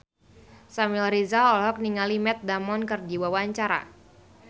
Samuel Rizal olohok ningali Matt Damon keur diwawancara